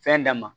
Fɛn d'a ma